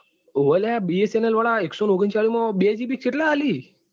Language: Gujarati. હોવે લ્ય bsnl વાળા એકસો ઓગણચાલીસ માં બે gb કે કેટલા આપે?